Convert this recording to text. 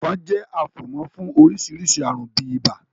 Ẹ̀fọn jẹ́ afomo fún oríṣiríṣi àrùn bíi ibà.